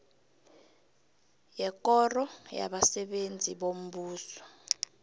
yekoro yabasebenzi bombuso